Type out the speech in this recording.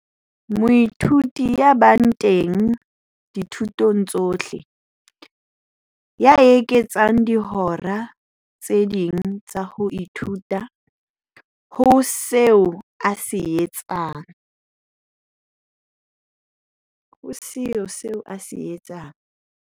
Moithuti ya bang teng dithutong tsohle, ya eketsang dihora tse ding tsa ho ithuta ho seo a se etsang.